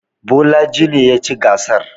Bolaji ne ya ci gasar.